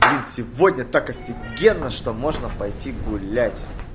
блин сегодня так офигенно что можно пойти гулять